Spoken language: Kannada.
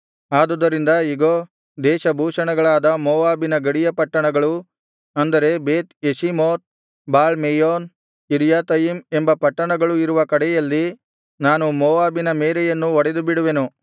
ಆದುದರಿಂದ ಇಗೋ ದೇಶಭೂಷಣಗಳಾದ ಮೋವಾಬಿನ ಗಡಿಯ ಪಟ್ಟಣಗಳು ಅಂದರೆ ಬೇತ್ ಯೆಷೀಮೋತ್ ಬಾಳ್ ಮೆಯೋನ್ ಕಿರ್ಯಾಥಯಿಮ್ ಎಂಬ ಪಟ್ಟಣಗಳು ಇರುವ ಕಡೆಯಲ್ಲಿ ನಾನು ಮೋವಾಬಿನ ಮೇರೆಯನ್ನು ಒಡೆದುಬಿಡುವೆನು